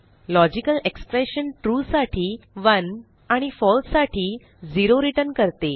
logical expression true साठी 1 आणि false साठी 0 रिटर्न करते